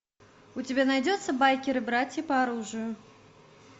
у тебя найдется байкеры братья по оружию